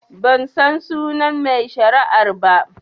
Bansan sunan mai shari'ar ba